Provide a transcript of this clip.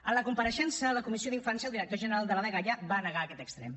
en la compareixença a la comissió d’infància el director general de la dgaia va negar aquest extrem